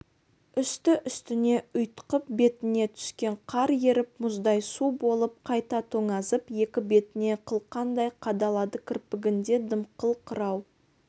үсті-үстіне ұйтқып бетіне түскен қар еріп мұздай су болып қайта тоңазып екі бетіне қылқандай қадалады кірпігінде дымқыл қырау